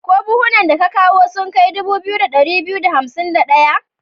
Ko buhunan da ka kawo sun kai dubu 2251?